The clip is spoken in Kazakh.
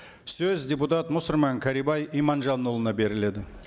сөз депутат мұсырман кәрібай иманжанұлына беріледі